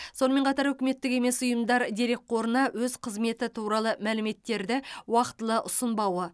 сонымен қатар үкіметтік емес ұйымдар дерекқорына өз қызметі туралы мәліметтерді уақытылы ұсынбауы